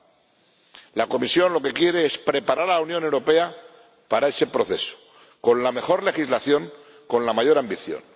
Lo que quiere la Comisión es preparar a la Unión Europea para ese proceso, con la mejor legislación, con la mayor ambición.